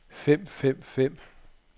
fem fem fem